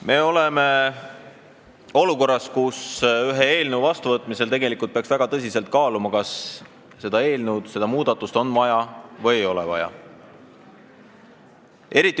Me oleme olukorras, kus ühe eelnõu seadusena vastuvõtmisel peaks väga tõsiselt kaaluma, kas seda eelnõu, seda muudatust on vaja või ei ole.